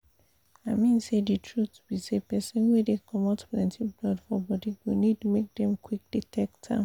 i mean say the truth be say persin wey dey comot plenty blood for body go need make dem qik detect am